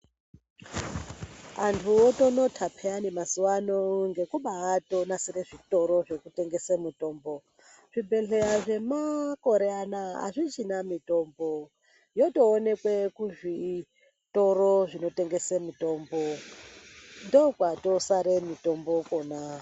Anhu otonota pheyani mazuwano ngekubatonasire zvitoro zvinotengese mitombo. Zvibhedhleya zvemakore anaya azvichina mitombo yotoonekwe kuzvitoro zvinotengese mitombo ndokwatosare mitombo kwona.